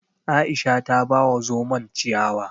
Aisha ta ba wa zomon ciyawa